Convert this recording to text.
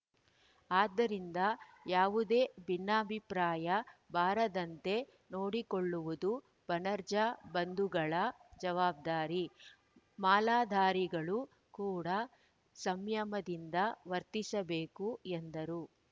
ಆದ್ದರಿಂದ ಯಾವುದೇ ಭಿನ್ನಾಭಿಪ್ರಾಯ ಬಾರದಂತೆ ನೋಡಿಕೊಳ್ಳುವುದು ಬಣಜಾರ್‌ ಬಂಧುಗಳ ಜವಾಬ್ದಾರಿ ಮಾಲಾಧಾರಿಗಳು ಕೂಡಾ ಸಂಯಮದಿಂದ ವರ್ತಿಸಬೇಕು ಎಂದರು